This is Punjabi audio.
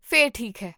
ਫਿਰ ਠੀਕ ਹੈ